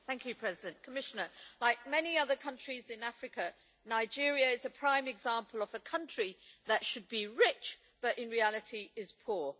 Madam President, like many other countries in Africa, Nigeria is a prime example of a country that should be rich but in reality is poor.